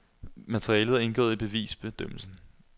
Materialet er indgået i bevisbedømmelsen.